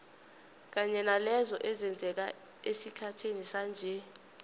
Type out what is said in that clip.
kanye nalezo ezenzeka esikhathini sanje